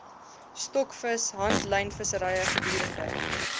stokvis handlynvissery gedurende